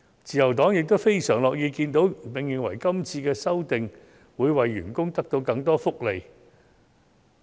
自由黨非常樂意看到，並認為這次修訂會為員工帶來更多福利。